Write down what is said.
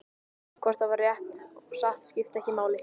Hvort það var rétt og satt skipti ekki máli.